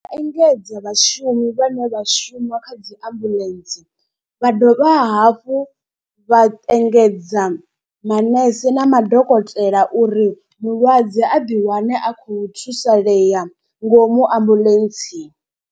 Engedza vhashumi vhane vha shuma kha dzi ambuḽentse. Vha dovha hafhu vha engedza manese na madokotela uri mulwadze a ḓi wane a khou thusalea ngomu ambuḽentseni.